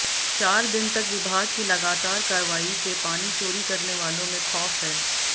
चार दिन तक विभाग की लगातार कार्रवाई से पानी चोरी करने वालों में खौफ है